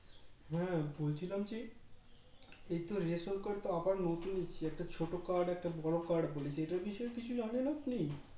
হ্যাঁ বলছিলাম কী এই তো Ration card টা আবার নতুন হচ্ছে একটা ছোটো Card একটা বড়ো Card বলেছে সেটার বিষয় এ কিছু জানেন আপনি